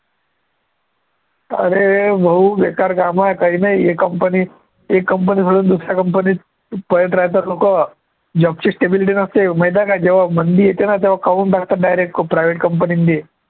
अरे भाऊ बेकार कामं आहे, काही नाही हे company एक company सोडून दुसऱ्या company त पळत राहतात लोकं job ची stability नसते, माहिती आहे काय जेव्हा मंदी येते ना तेव्हा काढून टाकतात direct private company त बी